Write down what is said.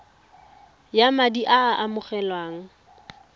ya madi a a amogelwang